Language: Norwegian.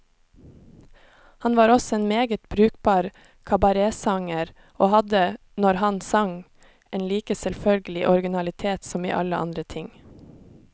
Han var også en meget brukbar kabaretsanger, og hadde, når han sang, en like selvfølgelig originalitet som i alle andre ting.